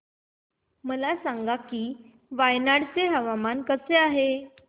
मला सांगा की वायनाड चे हवामान कसे आहे